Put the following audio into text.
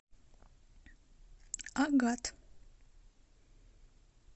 агат